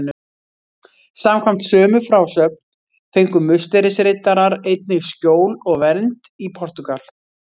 Samkvæmt sömu frásögn fengu Musterisriddarar einnig skjól og vernd í Portúgal.